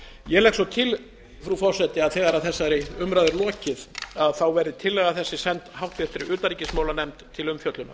ég legg svo til frú forseti að þegar að þessari umræðu er lokið verði tillaga þessi send háttvirtri utanríkismálanefnd til umfjöllunar